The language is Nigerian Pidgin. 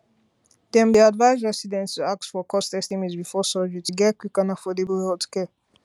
dem dey advise residents to ask for cost estimate before surgery to get quick and affordable healthcare